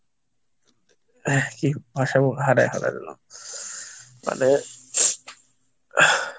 মানে,